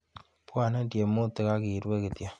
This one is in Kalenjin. Bwoni tiemutik akirue kityo.